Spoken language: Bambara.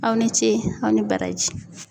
Aw ni ce aw ni baraji.